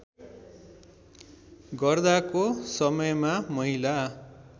गर्दाको समयमा महिला